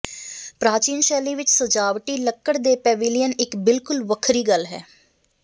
ਪ੍ਰਾਚੀਨ ਸ਼ੈਲੀ ਵਿੱਚ ਸਜਾਵਟੀ ਲੱਕੜ ਦੇ ਪੈਵਿਲਿਅਨ ਇੱਕ ਬਿਲਕੁਲ ਵੱਖਰੀ ਗੱਲ ਹੈ